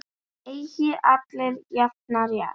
Eiga allir jafnan rétt?